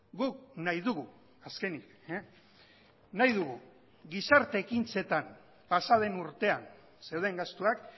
guk nahi dugu azkenik nahi dugu gizarte ekintzetan pasa den urtean zeuden gastuak